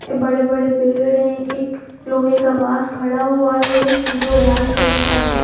ये बड़े बड़े पेड़ हैं एक लोहे का बास खड़ा हुआ है जो लाल कलर का है।